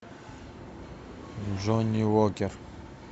джонни уокер